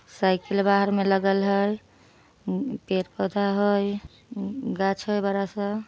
Cycle बाहर में लगल है पेड़-पौधा है। गाछ है बड़ा-सा --